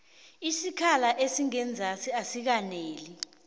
isikhala esingenzasi asikaneli